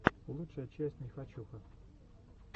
лучшая часть нехочуха